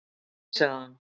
Nei, sagði hann.